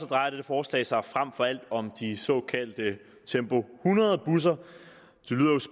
drejer dette forslag sig frem for alt om de såkaldte tempo hundrede busser